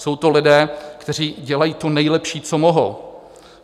Jsou to lidé, kteří dělají to nejlepší, co mohou.